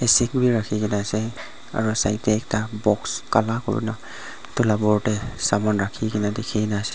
rakhikaena ase aro side tae ekta box kala kurina edu la opor tae saman rakhikae na dikhina ase.